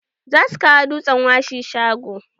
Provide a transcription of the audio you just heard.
Za su kawo dutsen washi shago.